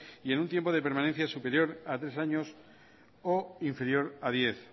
y en un tiempo de permanencia superior a tres años o inferior a diez